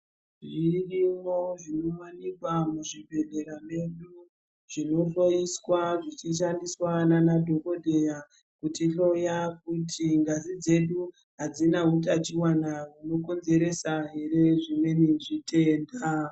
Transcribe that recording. Zvirimwo zvinowanikwa muzvibhedhlera medu zvinohloiswa zvichishandiswa nana dhokodheya kutihloya kuti ngazi dzedu hadzina hutachiona hunokonzeresa here zvimweni zvitenda.